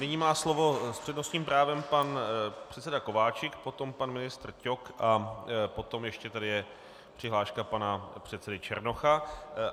Nyní má slovo s přednostním právem pan předseda Kováčik, potom pan ministr Ťok a potom ještě je tady přihláška pana předsedy Černocha.